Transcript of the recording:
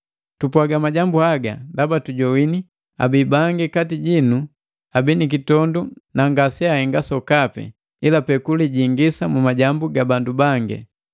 Tupwaga majambu haga ndaba tujogwini abii bangi kati jinu abi nikitondu na ngase ahenga sokapi, ilapee kulijingisa mu majambu ga bandu bangi.